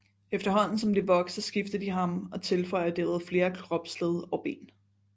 Efterhånden som de vokser skifter de ham og tilføjer derved flere kropsled og ben